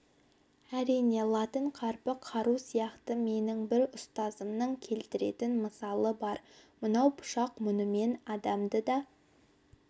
әрине латын қарпі қару сияқты менің бір ұстазымның келтіретін мысалы бар мынау пышақ мұнымен адамды да